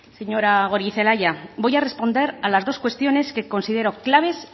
señora goirizelaia voy a responder a las dos cuestiones que considera claves